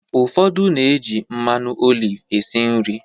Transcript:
Ụfodu na-eji mmanụ oliv esi nri.